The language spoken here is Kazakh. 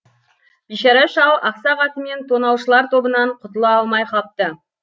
бишара шал ақсақ атымен тонаушылар тобынан құтыла алмай қапты